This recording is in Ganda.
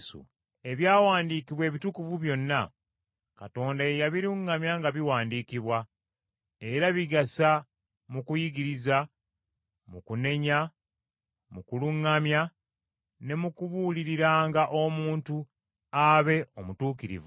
Ebyawandiikibwa Ebitukuvu byonna, Katonda ye yabiruŋŋamya nga biwandiikibwa, era bigasa mu kuyigiriza, mu kunenya, mu kuluŋŋamya ne mu kubuuliranga omuntu abe omutuukirivu,